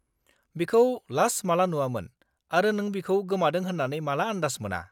बिखौ लास्ट माला नुआमोन आरो नों बिखौ गोमादों होन्नानै माला आन्दास मोना?